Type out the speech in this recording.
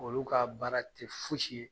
Olu ka baara ti fosi ye